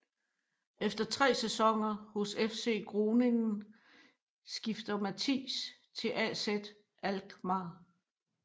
Efter 3 sæsoner hos FC Groningen skifter Matthijs til AZ Alkmaar